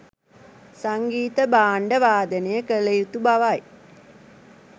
සංගීත භාණ්ඩ වාදනය කළ යුතු බවයි.